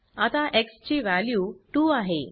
आता एक्स ची वॅल्यू 2 आहे